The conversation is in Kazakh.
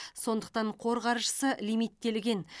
сондықтан қор қаржысы лимиттелген